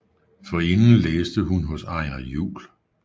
Forinden læste hun hos Einar Juhl